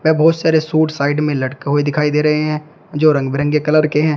व बहुत सारे सूट साइड में लटके हुए दिखाई दे रहे हैं जो रंग बिरंगे कलर के हैं।